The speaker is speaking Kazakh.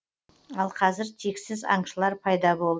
ал қазір тексіз аңшылыр пайда болды